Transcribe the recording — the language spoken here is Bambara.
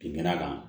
Binkɛnɛ kan